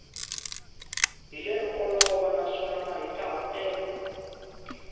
hi lero olova naswona mahikahatelo